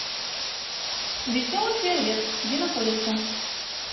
веселый фейерверк где находится